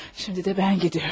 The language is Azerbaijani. Şimdi də mən gediyorum.